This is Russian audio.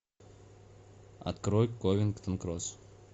открой ковингтон кросс